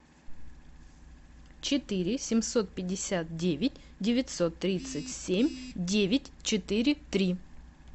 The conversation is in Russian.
четыре семьсот пятьдесят девять девятьсот тридцать семь девять четыре три